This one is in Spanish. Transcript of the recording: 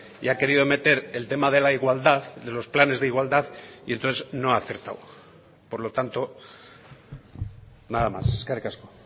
y ha querido meter el tema de la igualdad de los planes de igualdad y entonces no ha acertado por lo tanto nada más eskerrik asko